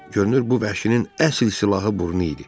Görünür bu vəhşinin əsl silahı burnu idi.